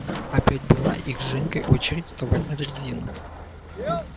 опять была их с женькой очередь вставать на дрезину